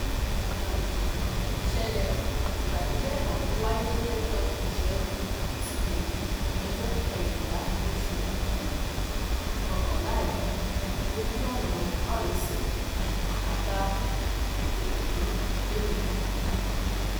um ìṣẹlẹ ìbànújẹ ọhún wáyé lọjọ ìṣẹgun túṣídéé ọjọ kẹrìnlá oṣù um kọkànlá yìí lójú ọnà márosẹ àbá ikoteképené